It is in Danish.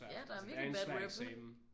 Ja der er virkelig et bad rep